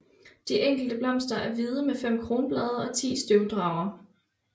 De enkelte blomster er hvide med fem kronblade og 10 støvdragere